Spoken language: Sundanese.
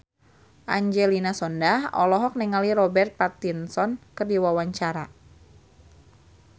Angelina Sondakh olohok ningali Robert Pattinson keur diwawancara